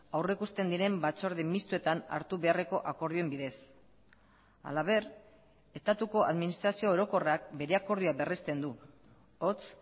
aurrikusten diren batzorde mistoetan hartu beharreko akordioen bidez halaber estatuko administrazio orokorrak bere akordioa berrezten du hots